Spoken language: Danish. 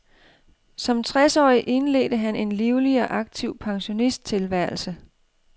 Som tres årig indledte han en livlig og aktiv pensionisttilværelse.